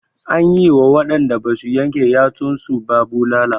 An yi wa waɗanda basu yanke yatsun su ba bulala.